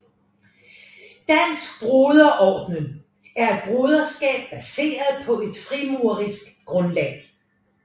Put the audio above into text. Dansk Broder Orden er et broderskab baseret på et frimurerisk grundlag